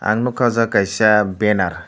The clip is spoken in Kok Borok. ang nogka o jaga kaisa benner.